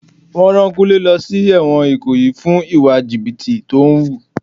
Wọn rán Kúnlé lọ sí èwòn ikoyi fún ìwà jìbìtì tó ń wù.